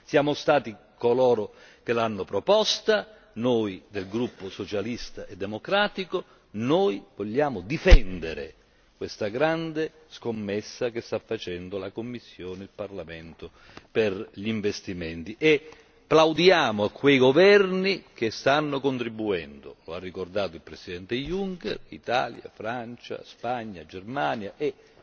Siamo stati coloro che l'hanno proposta, noi del Gruppo socialista e democratico, noi vogliamo difendere questa grande scommessa che stanno facendo Commissione e Parlamento per gli investimenti. E plaudiamo a quei governi che stanno contribuendo lo ha ricordato il presidente Juncker Italia, Francia, Spagna, Germania